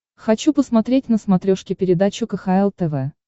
хочу посмотреть на смотрешке передачу кхл тв